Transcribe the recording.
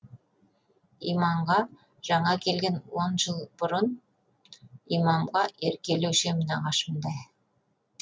иманға жаңа келген он жыл бұрын имамға еркелеуші ем нағашымдай